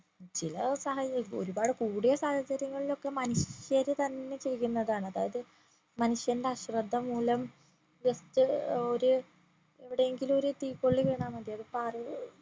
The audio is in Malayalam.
ചില സാഹചര്യത്തിൽ ഒരുപാട് കൂടിയ സാഹചര്യങ്ങളിൽ ഒക്കെ മനുഷ്യര് തന്നെ ചെയ്യുന്നതാണ് അതായത് മനുഷ്യന്റെ അശ്രദ്ധ മൂലം just ഒരു എവിടെ എങ്കിലും ഒരു തീക്കൊള്ളി വീണാമതി അത് പാറി